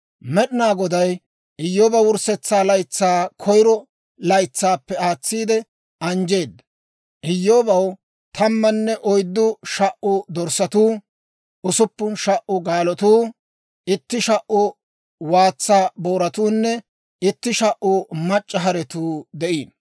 Med'inaa Goday Iyyooba wurssetsa laytsaa koyiro laytsaappe aatsiide anjjeedda. Iyyoobaw tammanne oyddu sha"u dorssatuu, usuppun sha"u gaalotuu, itti sha"u waatsa booratunne itti sha"u mac'c'a haretuu de'iino.